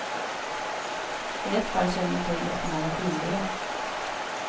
I ett fall känner jag till och med till den skyldige.